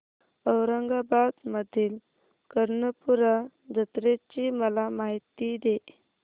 औरंगाबाद मधील कर्णपूरा जत्रेची मला माहिती दे